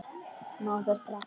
Opið inn!